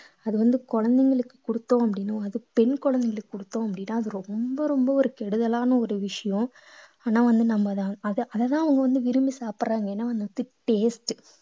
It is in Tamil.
அது வந்து குழந்தைகளுக்கு கொடுத்தோம் அப்படீன்னா அது பெண் குழந்தைகளுக்கு கொடுத்தோம் அப்படீன்னா அது ரொம்ப ரொம்ப ஒரு கெடுதலான ஒரு விஷயம் ஆனா வந்து நம்ம அத அதை அதைத்தான் அவங்க வந்து விரும்பி சாப்பிடறாங்க ஏன்னா வந்து taste